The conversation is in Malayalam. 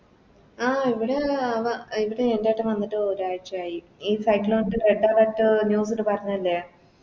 ആഹ് ഇവിടെ അഹ് വ എൻറെ എൻറെട്ടൻ വന്നിട്ട് ഒരാഴ്ചയായി ഈ Site ല് വന്നിട്ട് Red alert news ല് പറഞ്ഞ അല്ലെ